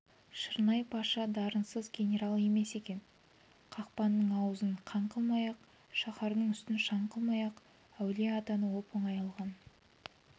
шырнай-паша дарынсыз генерал емес екен қақпаның аузын қан қылмай-ақ шаһардың үстін шаң қылмай-ақ әулие-атаны оп-оңай алған